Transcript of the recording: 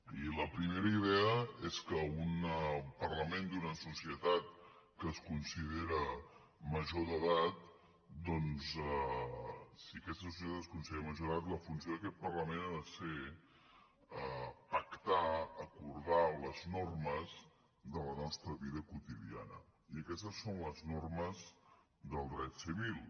i la primera idea és que un parlament d’una societat que es considera major d’edat doncs si aquesta societat es considera major d’edat la funció d’aquest parlament ha de ser pactar acordar les normes de la nostra vida quotidiana i aquestes són les normes del dret civil